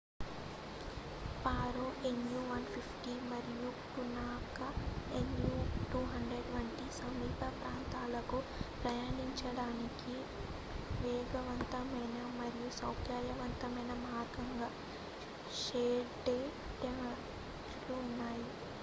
Paro nu 150 మరియు Punakha nu 200 వంటి సమీప ప్రాంతాలకు ప్రయాణించడానికి వేగవంతమైన మరియు సౌకర్యవంతమైన మార్గంగా షేర్ డ్ టాక్సీలు ఉన్నాయి